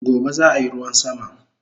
Gobe zaayi ruwan sama